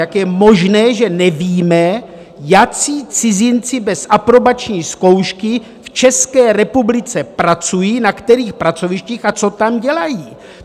Jak je možné, že nevíme, jací cizinci bez aprobační zkoušky v České republice pracují, na kterých pracovištích a co tam dělají?